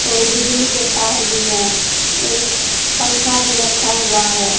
और बिजली के तार भी हैं एक पंखा भी रखा हुआ है।